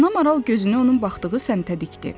Ana Maral gözünü onun baxdığı səmtə dikdi.